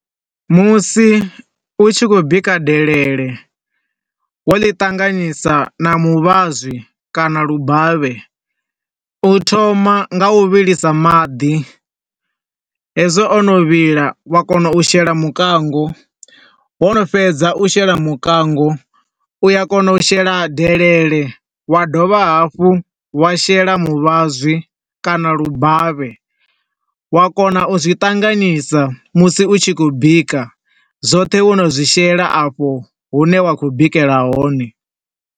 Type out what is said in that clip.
Musi u tshi khou bika delelele wo ḽi tanganisa na muvhazwi kana lubavhe. U thoma nga u vhilisa maḓi, hezwo o no vhila wa kona u shela mukango, wo no fhedza u shela mukango, u a kona u shela delele wa dovha hafhu wa shela muvhazwi kana lubavhe, wa kona u zwi ṱanganisa musi u tshi khou bika, zwoṱhe wo no zwi shela a fho, hune wa khou bikela hone.